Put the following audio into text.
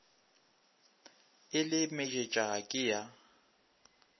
e le mejetša ke ya